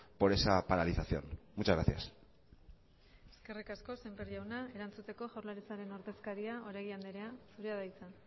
por esa paralización muchas gracias eskerrik asko semper jauna erantzuteko jaurlaritzaren ordezkaria oregi andrea zurea da hitza